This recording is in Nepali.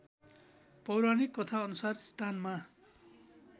पौराणिक कथाअनुसार स्थानमा